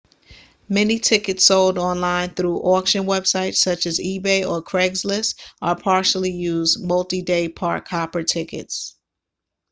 many tickets sold online through auction websites such as ebay or craigslist are partially used multi-day park-hopper tickets